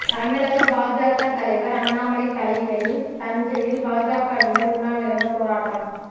தமிழக பாஜக தலைவர் அண்ணாமலை தலைமையில் தஞ்சையில் பாஜகவினர் உண்ணாவிரதப் போராட்டம்